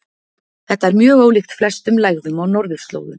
Þetta er mjög ólíkt flestum lægðum á norðurslóðum.